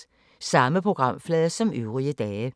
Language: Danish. Samme programflade som øvrige dage